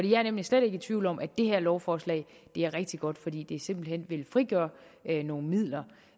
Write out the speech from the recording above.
jeg er nemlig slet ikke i tvivl om at det her lovforslag er rigtig godt fordi det simpelt hen vil frigøre nogle midler